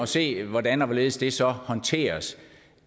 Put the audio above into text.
se hvordan og hvorledes det så håndteres